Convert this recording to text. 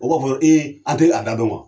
O b'a fɔ a tɛ a da dɔn wa?